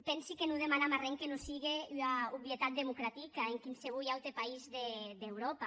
pensi que non demanam arren que non sigue ua obvietat democratica en quinsevolh aute país d’euròpa